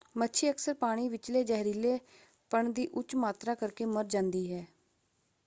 ਮੱਛੀ ਅਕਸਰ ਪਾਣੀ ਵਿਚਲੇ ਜ਼ਹਿਰੀਲੇਪਣ ਦੀ ਉੱਚ ਮਾਤਰਾ ਕਰਕੇ ਮਰ ਜਾਂਦੀ ਹੈ।